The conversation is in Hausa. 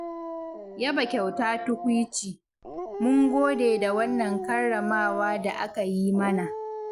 Yaba kyauta tukuici, mun gode da wannan karramawa da aka yi mana.